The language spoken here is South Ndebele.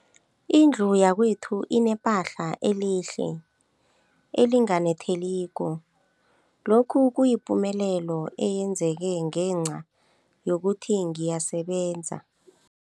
Indlu yakwethu inephahla elihle, elinganetheliko, lokhu kuyipumelelo eyenzeke ngenca yokuthi ngiyasebenza.